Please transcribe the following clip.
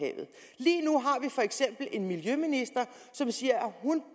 for eksempel en miljøminister som siger